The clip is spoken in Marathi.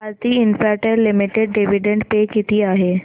Bharti Infratel limited dividend pay किती आहे